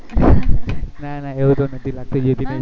ના ના એવું તો નથી લાગતું જ્યોતિ ને જોઈ ને